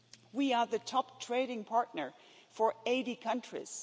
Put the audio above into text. We are the top trading partner for 80 countries.